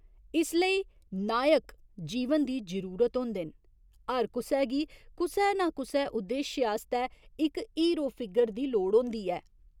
इसलेई नायक जीवन दी जरूरत होंदे न, हर कुसै गी कुसै नां कुसै उद्देश्य आस्तै इक 'हीरो फिगर' दी लोड़ होंदी ऐ।